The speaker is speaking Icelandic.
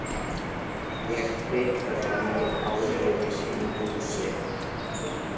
Ég fikra mig áleiðis inn í húsið.